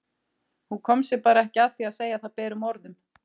Hún kom sér bara ekki að því að segja það berum orðum.